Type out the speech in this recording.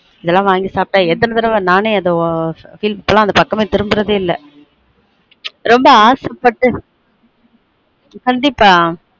இதெல்லான் வாங்கி சாப்ட்டா எத்தன தடவ நானே அத உஆ feel பண்ண இப்பேல்லான் அந்த பக்கமே திரும்பறதே இல் ரொம்ப ஆச பட்டு கண்டீப்பா